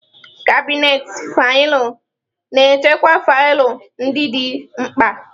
Kabinetị faịlụ na-echekwa faịlụ ndị dị mkpa.